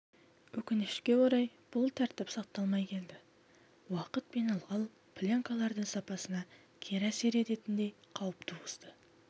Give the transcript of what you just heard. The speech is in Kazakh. өкінішке орай бұл тәртіп сақталмай келді уақыт пен ылғал пленкалардың сапасына кері әсер ететіндей қауіп туғызды